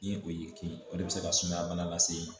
Ni o y'i kin o de bɛ se ka sumaya bana lase e ma